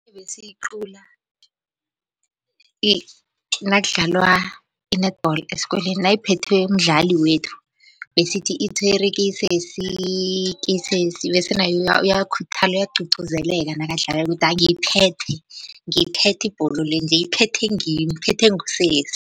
Ebesiyiqula nakudlalwa i-netball esikolweni nayiphethwe mdlali wethu besithi itshwere kesesi kesesi bese naye uyakhuthala uyagcugcuzeleka nakadlalako. Ukuthi ngiyiphethe, ngiyithethe ibholo le nje iphethwe ngimi, iphethwe ngusesi.